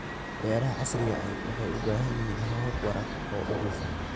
Beeraha casriga ahi waxay u baahan yihiin habab waraab oo hufan.